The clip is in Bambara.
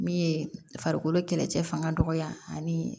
Min ye farikolo kɛlɛcɛ fanga dɔgɔya ani